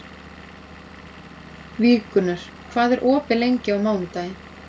Víggunnur, hvað er opið lengi á mánudaginn?